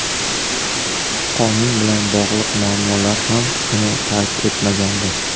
Qonun bilan bog‘liq muammolar ham uni tark etmagandi.